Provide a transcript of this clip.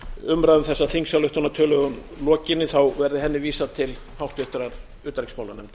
umræðu um þessa þingsályktunartillögu lokinni verði henni vísað til háttvirtrar utanríkismálanefndar